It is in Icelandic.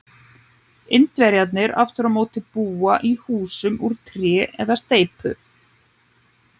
Indverjarnir aftur á móti búa í húsum úr tré eða steypu.